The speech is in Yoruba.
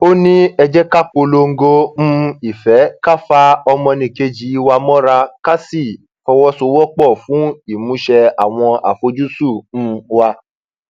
ó ní ẹ jẹ ká polongo um ìfẹ ká fa ọmọnìkejì wa mọra ká sì fọwọsowọpọ fún ìmúṣẹ àwọn àfojúsùn um wa